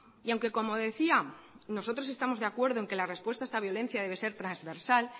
y aunque como decía nosotros estamos de acuerdo en que la respuesta a esta violencia debe ser transversal